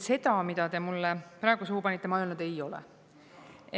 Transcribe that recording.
Seda, mida te mulle praegu suhu panite, ma öelnud ei ole.